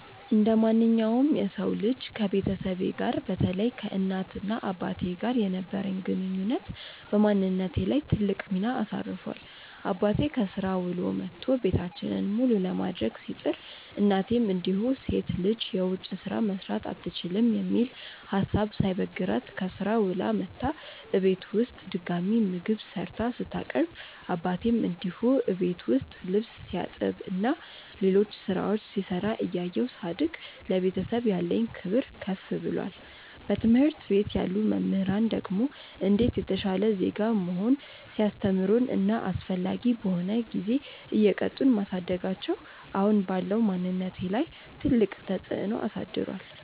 እንደማንኛውም የሰው ልጅ ከቤተሰቤ ጋር በተለይ ከእናት እና አባቴ ጋር የነበረኝ ግንኙነት በማንነቴ ላይ ትልቅ ሚና አሳርፏል። አባቴ ከስራ ውሎ መቶ ቤታችንን መሉ ለማድረግ ሲጥር፤ እናቴም እንዲሁ ሴት ልጅ የውጭ ስራ መስራት አትችልም የሚል ሀሳብ ሳይበግራት ከስራ ውላ መታ እቤት ውስጥ ድጋሚ ምግብ ሰርታ ስታቀርብ አባቴም እንዲሁ እቤት ውስጥ ልብስ ሲያጥብ እና ሌሎች ስራዎች ሲሰራ እያየው ሳድግ ለቤተሰብ ያለኝ ክብር ከፍ ብሏል። በትምህርት ቤት ያሉ መምህራን ደግሞ እንዴት የተሻለ ዜጋ መሆን ሲያስተምሩን እና አስፈላጊ በሆነ ጊዜ እየቀጡን ማሳደጋቸው አሁን ባለው ማንነቴ ላይ ትልቅ ተፅዕኖ አሳድሯል።